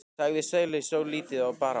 sagði Sóley svo lítið bar á.